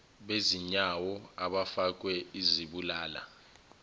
bezinyawo abafakwe izibulala